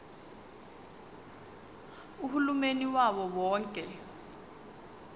uhulumeni wawo wonke